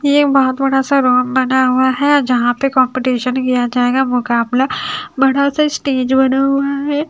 ये बहोत बड़ा सा राउंड बना हुआ है जहां पे कंपटीशन किया जाएगा मुकाबला बड़ा सा स्टेज बना हुआ है।